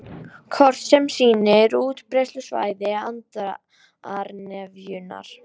Kort sem sýnir útbreiðslusvæði andarnefjunnar